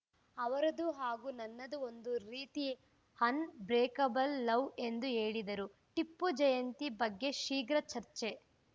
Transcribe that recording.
ಅವರದು ಹಾಗೂ ನನ್ನದೂ ಒಂದು ರೀತಿ ಅನ್‌ಬ್ರೇಕಬಲ್‌ ಲವ್‌ ಎಂದು ಹೇಳಿದರು ಟಿಪ್ಪು ಜಯಂತಿ ಬಗ್ಗೆ ಶೀಘ್ರ ಚರ್ಚೆ